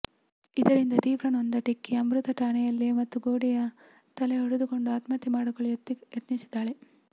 ಇದರಿಂದ ತೀವ್ರ ನೊಂದ ಟೆಕ್ಕಿ ಅಮೃತ ಠಾಣೆಯಲ್ಲೇ ಮತ್ತೆ ಗೊಡೆಗೆ ತಲೆ ಹೊಡೆದುಕೊಂಡು ಆತ್ಮಹತ್ಯೆ ಮಾಡಿಕೊಳ್ಳಲು ಯತ್ನಿಸಿದ್ದಾಳೆ